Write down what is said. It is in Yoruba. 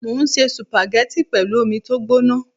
Mo ń se sùpàgẹ́tì pẹ̀lú omi tó gbóná